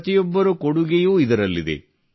ಪ್ರತಿಯೊಬ್ಬರ ಕೊಡುಗೆಯೂ ಇದರಲ್ಲಿದೆ